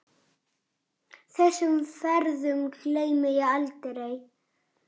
Þessum ferðum gleymi ég aldrei.